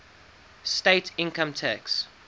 state income tax